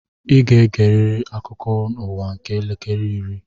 I ga-egeriri akụkọ ụwa nke elekere iri!